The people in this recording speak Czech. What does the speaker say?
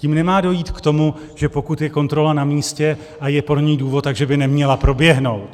Tím nemá dojít k tomu, že pokud je kontrola namístě a je pro ni důvod, tak že by neměla proběhnout.